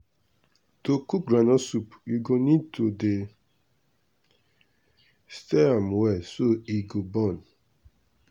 to cook groundnut soup u go need to dey stir am well so e go burn.